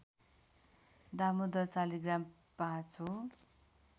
दामोदर शालिग्राम ५ हो